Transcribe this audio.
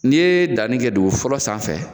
N'i ye danni kɛ dugun fɔlɔ sanfɛ